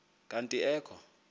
kanti ee kho